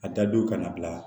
A dadow ka na bila